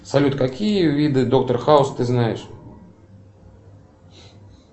салют какие виды доктор хаус ты знаешь